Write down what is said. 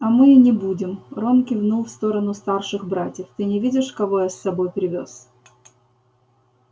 а мы и не будем рон кивнул в сторону старших братьев ты не видишь кого я с собой привёз